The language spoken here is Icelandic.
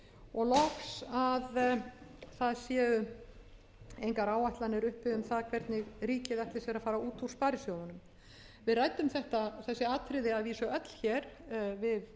og loks að það séu engar áætlanir uppi um það hvernig ríkið ætli sér að fara út úr sparisjóðunum við ræddum þessi atriði að vísu öll hér við